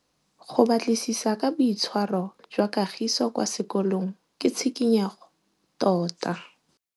Go batlisisa ka boitshwaro jwa Kagiso kwa sekolong ke tshikinyêgô tota.